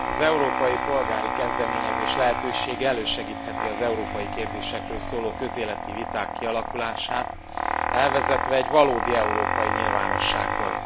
Az európai polgári kezdeményezés lehetősége elősegítheti az európai kérdésekről szóló közéleti viták kialakulását, elvezetve egy valódi európai nyilvánossághoz.